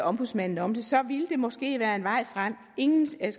ombudsmanden om det så ville det måske være en vej frem ingen skal i